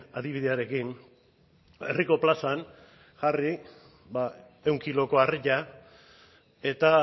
adibidearekin herriko plazan jarri ehun kiloko harria eta